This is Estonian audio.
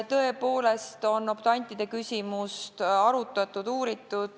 Tõepoolest on optantide küsimust arutatud ja uuritud.